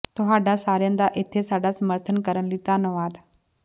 ਤੁਹਾਡਾ ਸਾਰਿਆਂ ਦਾ ਇੱਥੇ ਸਾਡਾ ਸਮਰਥਨ ਕਰਨ ਲਈ ਧੰਨਵਾਦ